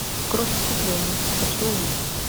кровь искупления хочу увидеть